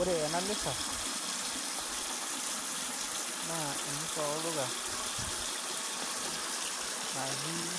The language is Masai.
Ore ena misa, naa emisa olduka, natii